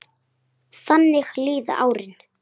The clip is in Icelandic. Þannig líða árin.